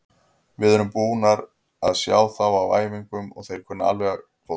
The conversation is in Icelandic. Við erum búnir að sjá þá á æfingum og þeir kunna alveg fótbolta.